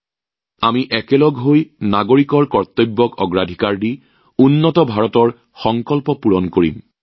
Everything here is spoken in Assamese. আৰু একেলগে আমি নিশ্চিতভাৱে নাগৰিকৰ কৰ্তব্যৰ অগ্ৰাধিকাৰ অনুসৰি এখন উন্নত ভাৰতৰ সংকল্পৰ উপনীত হম